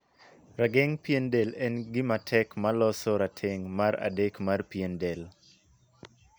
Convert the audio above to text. Rageng pien del en gin matek ma loso rategnf mar adek mar pien del.